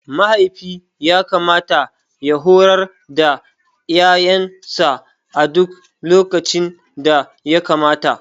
Mahaifi yakamata ya horar da yaransa a duk lokacin da yakamata.